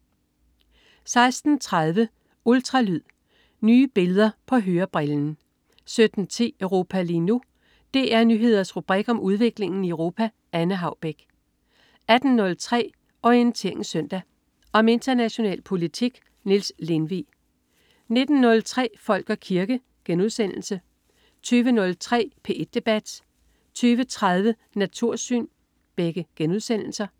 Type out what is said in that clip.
16.30 Ultralyd. Nye billeder på hørebrillen 17.10 Europa lige nu. DR Nyheders rubrik om udviklingen i Europa. Anne Haubek 18.03 Orientering Søndag. Om international politik. Niels Lindvig 19.03 Folk og kirke* 20.03 P1 debat* 20.30 Natursyn*